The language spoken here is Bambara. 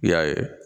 I y'a ye